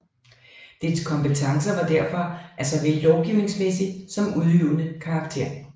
Dets kompetencer var derfor af såvel lovgivningsmæssig som udøvende karakter